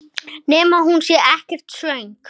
Nema hún sé ekkert svöng.